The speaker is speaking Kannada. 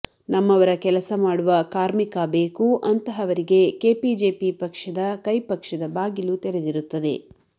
ನಮ್ಮವರ ಕೆಲಸ ಮಾಡುವ ಕಾರ್ಮಿಕ ಬೇಕು ಅಂತಹವರಿಗೆ ಕೆಪಿಜೆಪಿ ಪಕ್ಷದ ಕೈ ಪಕ್ಷದ ಬಾಗಿಲು ತೆರೆದಿರುತ್ತದೆ